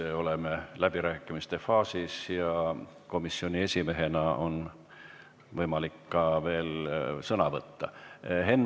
Me oleme läbirääkimiste faasis ja komisjoni esimehel on võimalik veel sõna võtta.